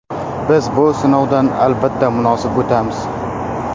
Biz bu sinovdan, albatta, munosib o‘tamiz.